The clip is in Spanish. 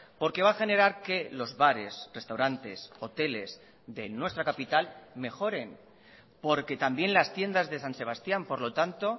porque va a generar que los bares restaurantes hoteles de nuestra capital mejoren porque también las tiendas de san sebastián por lo tanto